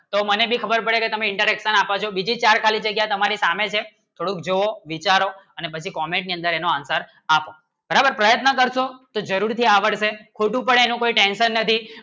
તો મને ભી ખબર પડે કે તમે interaction આપો છો બીજી ચાર ખાલી જગ્યા તમારી સામે છે થોડુંક જોવો વિચારો અને બધી Comment ની અંદર એનો Answer આપો બરાબર પ્રયત્ન કરશો જરૂરી થી આવડશે ખોટું પડે એનું કઇ ટેન્શન નથી